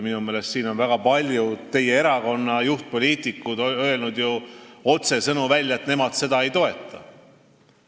Minu meelest on väga paljud teie erakonna juhtpoliitikud öelnud otsesõnu välja, et nemad seda ei toeta.